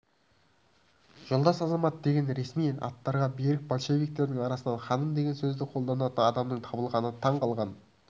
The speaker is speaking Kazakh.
жолдас азамат деген ресми аттарға берік большевиктердің арасынан ханым деген сөзді қолданатын адамның табылғанына таңғалған